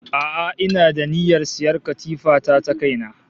A'a ina da niyyar sayan katifa ta ta kaina